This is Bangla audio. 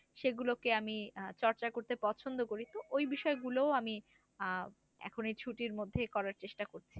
সেগুলোকে আমি আহ চর্চা করতে পছন্দ করি ওই বিষয় গুলো আমি আহ এখন এই ছুটির মধ্যে করার চেষ্টা করছি।